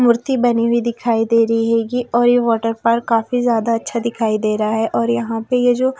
मूर्ति बनी हुई दिखाई दे रही हैगी और ये वाटर पार्क काफी ज्यादा अच्छा दिखाई दे रहा है और यहां पे ये जो--